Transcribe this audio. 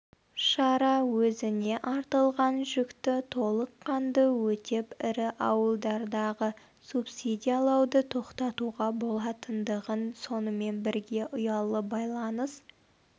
шара өзіне артылған жүкті толыққанды өтеп ірі ауылдардағы субсидиялауды тоқтатуға болатындығын сонымен бірге ұялы байланыс